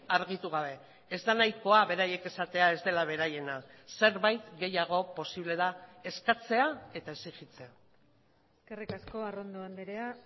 argitu gabe ez da nahikoa beraiek esatea ez dela beraiena zerbait gehiago posible da eskatzea eta exijitzea eskerrik asko arrondo andrea